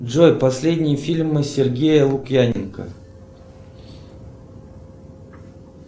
джой последние фильмы сергея лукьяненко